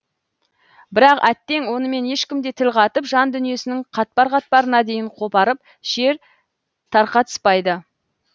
бірақ әттең онымен ешкім де тіл қатып жан дүниесінің қатпар қатпарына дейін қопарып шер тарқатыспайды